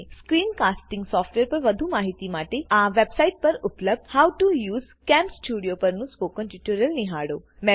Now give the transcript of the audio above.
screen casting software પર વધુ માહિતી માટેકૃપા કરી આ વેબ્સાઈટ પર ઉપલબ્ધ how to use CamStudio spoken સ્પોકન ટ્યુટોરીયલ નિહાળો